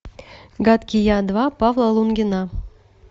гадкий я два павла лунгина